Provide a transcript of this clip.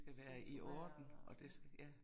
Struktureret og ja